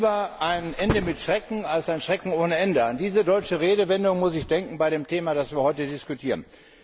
Lieber ein Ende mit Schrecken als ein Schrecken ohne Ende. An diese deutsche Redewendung muss ich bei dem Thema denken, das wir heute diskutieren.